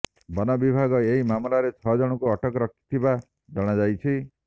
ବନ ବିଭାଗ ଏହି ମାମଲାରେ ଛଅଜଣଙ୍କୁ ଅଟକ ରଖିଥିବା ଜଣାଯାଇଛି